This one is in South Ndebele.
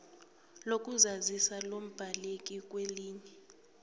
lokuzazisa lombaleki kwelinye